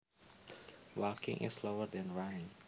Walking is slower than running